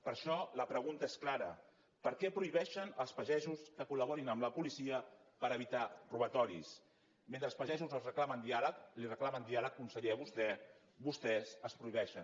per això la pregunta és clara per què prohibeixen als pagesos que col·per evitar robatoris mentre els pagesos els reclamen diàleg li reclamen diàleg conseller a vostè vostès els el prohibeixen